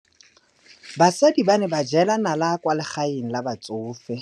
Basadi ba ne ba jela nala kwaa legaeng la batsofe.